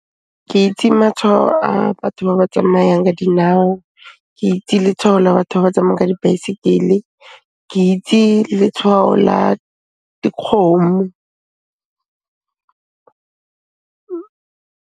Ke itse matshwao a batho ba ba tsamayang ka dinao, ke itse letshwao la batho ba ba tsamayang ka dibaesekele, ke itse letshwao la dikgomo.